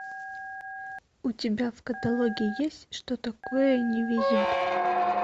у тебя в каталоге есть что такое не везет